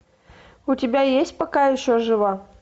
у тебя есть пока еще жива